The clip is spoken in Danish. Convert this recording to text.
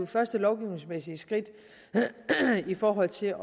første lovgivningsmæssige skridt i forbindelse